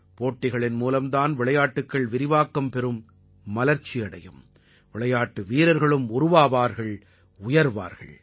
போட்டிகளின் மூலம் தான் விளையாட்டுக்கள் விரிவாக்கம் பெறும் மலர்ச்சி அடையும் விளையாட்டு வீரர்கள்களும் உருவாவார்கள் உயர்வார்கள்